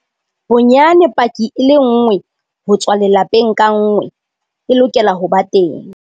Bonyane paki e lenngwe ho tswa lelapeng ka nngwe e lokela ho ba teng.